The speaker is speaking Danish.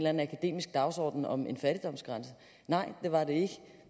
anden akademisk dagsorden om en fattigdomsgrænse nej det var det ikke